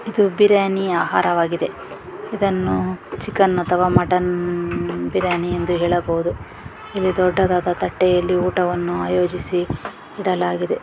ಇದು ಬಿರಿಯಾನಿಯ ಆಹಾರ ವಾಗಿದೆ ಇದನ್ನು ಚಿಕನ್ ಅಥವಾ ಮಟನ್ ಬಿರಿಯಾನಿ ಎಂದು ಹೇಳಬಹುದು. ಇಲ್ಲಿ ದೊಡ್ಡದಾದ ತಟ್ಟೆಯಲ್ಲಿ ಊಟವನ್ನು ಆಯೋಜಿಸಿ ಇಡಲಾಗಿದೆ.